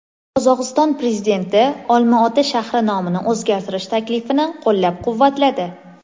Qozog‘iston prezidenti Olmaota shahri nomini o‘zgartirish taklifini qo‘llab-quvvatladi.